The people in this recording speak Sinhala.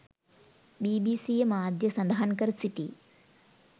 බිබිසීය මාධ්‍යය සඳහන් කර සිටී